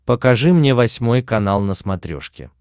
покажи мне восьмой канал на смотрешке